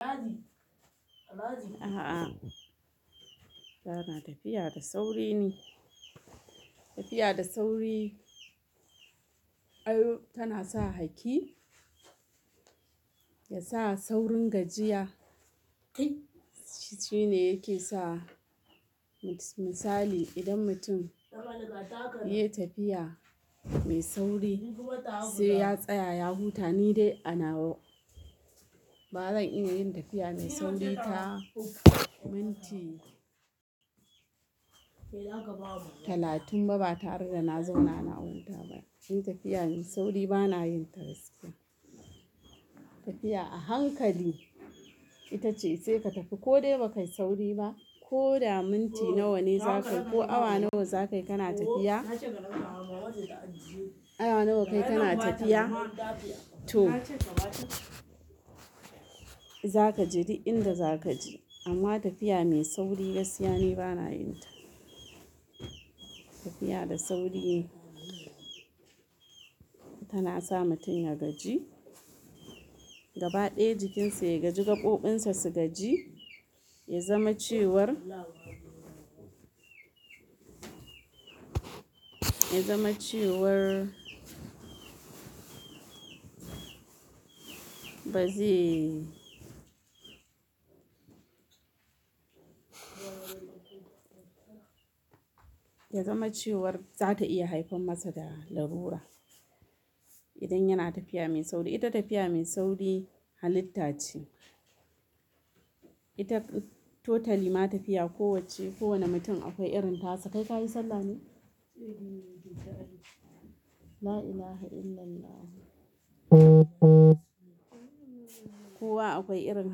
A'a, ba natafiya da sauri ni. Tafiya da sauri, ai tana sa hakki, ya sa saurin gajiya, kai. Shi ne yake sa misali idan mutum yake tafiya mai sauri sai ya tsaya ya huta. Ni dai a nawa ba zan iya yin tafiya mai sauri ba. Minti talatin ba ba tare da na zauna na huta ba. Tafiya mai sauri ba na yin ta gaskiya. Tafiya a hankali ita ce sai ka tafi ko dai ba ka yi sauri ba. Ko da minti nawa ne za ka yi ko awa nawa za ka yi kana tafiya. Awa nawa ka yi kana tafiya, t, o za ka je duk inda za ka je. Amma tafiya mai sauri, gaskiya ni ba na yin ta. Tafiya da sauri tana sa mutum ya gaji, gaba ɗaya jikinsa ya gaji, gaɓoɓinsa su gaji, ya zama cewar, ya zama cewar, ba ze. Ya zama cewar za ta iya haifan masa da lalura idan yana tafiya mai sauri. Ita tafiya mai sauri halitta ce. Ita totally ma tafiya kowacce kowane mutum akwai irin tasa. Kai ka yi sallah ne? La ilaha illallahu. Kowa akwai irin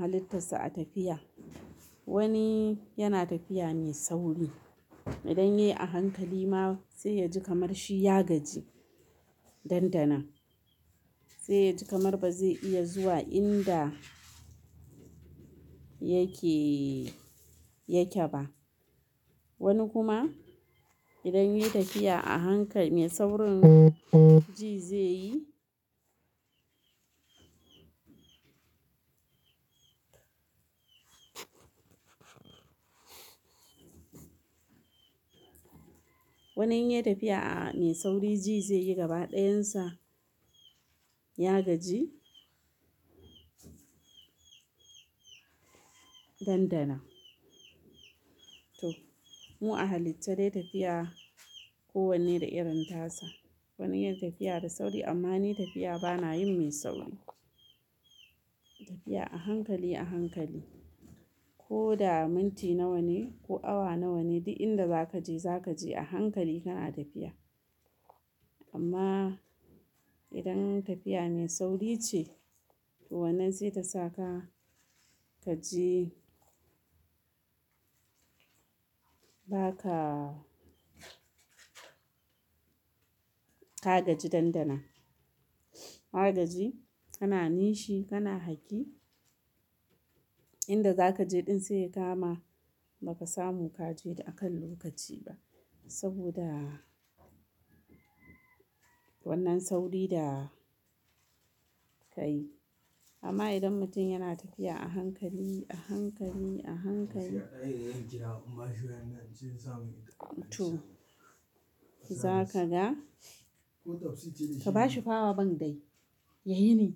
halittarsa a tafiya. Wani yana tafiya mai sauri. Idan ya yi a hankali ma sai ya ji kamar shi ya gaji nan da nan. Sai ya ji kamar ba zai iya zuwa inda yake, yake ba. Wani kuma idan ya yi tafiya a hankali, saurin ji zai yi. Wani in ya yi tafiya a mai sauri, ji zai yi gaba ɗayan sa ya gaji nan danan. To mu a halicce dai tafiya kowanne da irin tasa. Wani yana tafiya da sauri amma ni tafiya ba na yin mai sauri ba. Tafiya a hankali a hankali. Ko da minti nawa ne ko awa nawa ne, duk inda za ka je za ka je a hankali kana tafiya. Amma idan tafiya mai sauri ce, to wannan zai ta sa ka gaji. Ba ka, ka gaji nan danan. Ka gaji, kana nishi, kana haki. Inda za ka je ɗin sai ka ma, ba ka samu ka je da a kan lokaci ba. Saboda wannan sauri da ka yi. Amma idan mutum yana tafiya a hankali, a hankali, a hankali, to za ka ga. Ka bashi fawa ban dai. Ya yi me?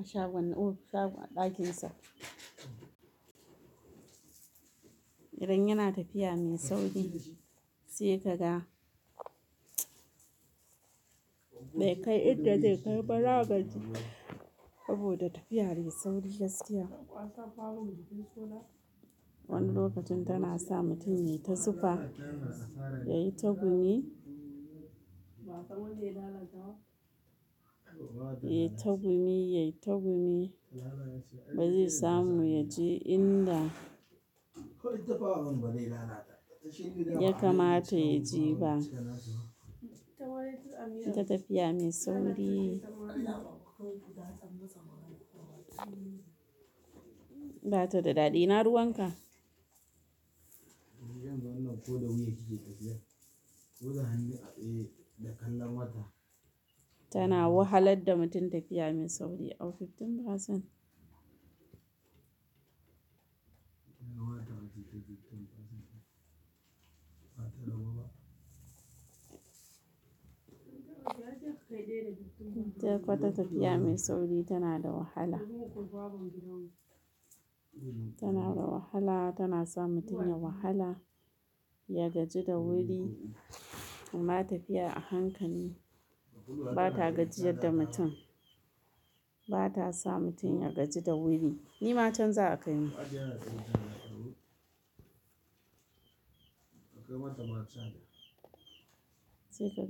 A shagon, shagon ɗakinsa. Idan yana tafiya mai sauri sai ka ga bai kai inda zai kai ba. Ya gaji ba saboda tafiya mai sauri, gaskiya. Wani lokacin tana sa mutum yayi ta zufa, ya yi ta gumi, ya yi ta gumi, ya yi ta gumi. Ba zai samu ya je inda ya kamata ya je ba. Ita tafiya mai sauri. Ba ta da daɗi. Ina ruwan ka? Tana wahalar da mutum tafiya mai sauri. Ita kwarai tafiya mai sauri tana da wahala. Tana da wahala, tana sa mutum ya wahala, ya gaji da wuri. Amma tafiya a hankali ba ta gajiyar da mutum. Ba ta sa mutum ya gaji da wuri. Ni ma can za a kai mu.